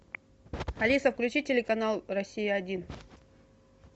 алиса включи телеканал россия один